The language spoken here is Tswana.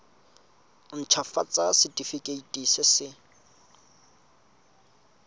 nt hafatsa setefikeiti se se